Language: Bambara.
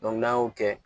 n'an y'o kɛ